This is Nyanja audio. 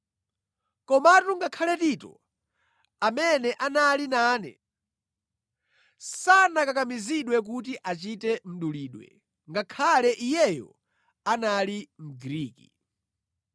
Komatu ngakhale Tito, amene anali nane sanakakamizidwe kuti achite mdulidwe, ngakhale iyeyo anali Mgriki.